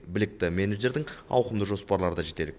білікті менеджердің ауқымды жоспарлары да жетерлік